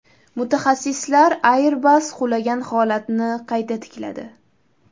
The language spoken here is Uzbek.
Mutaxassislar Airbus qulagan holatni qayta tikladi .